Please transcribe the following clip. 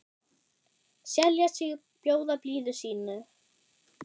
selja sig, bjóða blíðu sínu